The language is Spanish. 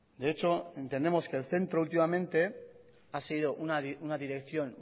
de hecho entendemos que el centro últimamente ha sido una dirección